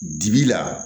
Dibi la